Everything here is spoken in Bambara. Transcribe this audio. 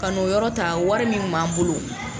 Ka n'o yɔrɔ ta wari min b'an bolo.